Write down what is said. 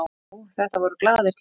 Já, þetta voru glaðir tímar.